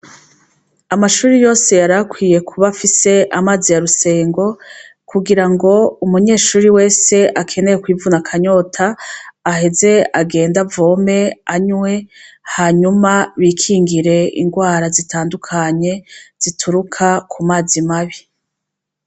Amashure yose yarakwiye kub’afise Amazi ya Rusengo. Kugirango umunyeshure wese akeneye kwivuna akanyota, aheze agend’avome anywe hanyuma bikingire ingwara zitandukanye zituruka kumazi mabi.